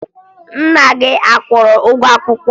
Nna gị a kwụrụ gị ụgwọ akwụkwọ?